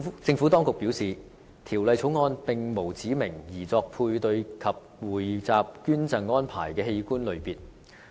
政府當局表示，《條例草案》並無指明擬作配對及匯集捐贈安排的器官類別。